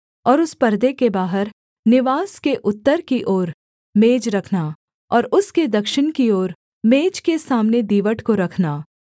और उस पर्दे के बाहर निवास के उत्तर की ओर मेज रखना और उसके दक्षिण की ओर मेज के सामने दीवट को रखना